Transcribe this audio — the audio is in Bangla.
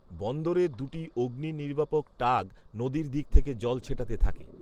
বন্দরের দুটি অগ্নি নির্বাপক টাগ নদীর দিক থেকে জল ছেটাতে থাকে